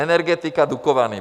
Energetika, Dukovany.